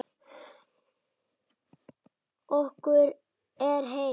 Okkur er heitt.